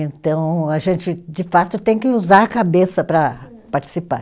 Então, a gente, de fato, tem que usar a cabeça para participar.